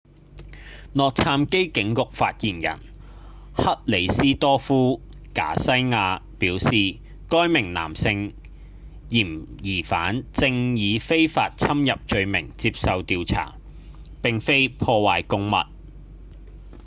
洛杉磯警局發言人克里斯多夫．賈西亞表示該名男性嫌疑犯正以非法侵入罪名接受調查而非破壞公物